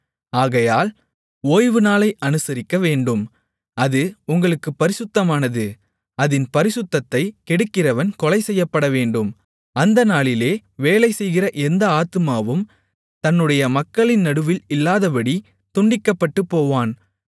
ஆகையால் ஓய்வுநாளை அனுசரிக்க வேண்டும் அது உங்களுக்குப் பரிசுத்தமானது அதின் பரிசுத்தத்தை கெடுக்கிறவன் கொலைசெய்யப்படவேண்டும் அந்த நாளிலே வேலைசெய்கிற எந்த ஆத்துமாவும் தன்னுடைய மக்களின் நடுவில் இல்லாதபடி துண்டிக்கப்பட்டுபோவான்